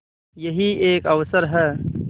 यही एक अवसर है